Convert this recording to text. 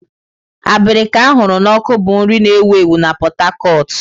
Abirika a hụrụ n'ọkụ bụ nri na-ewu ewu na Pot Tarcot.